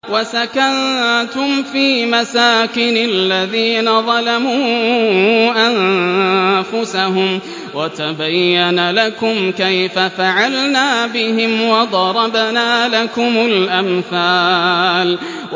وَسَكَنتُمْ فِي مَسَاكِنِ الَّذِينَ ظَلَمُوا أَنفُسَهُمْ وَتَبَيَّنَ لَكُمْ كَيْفَ فَعَلْنَا بِهِمْ وَضَرَبْنَا لَكُمُ الْأَمْثَالَ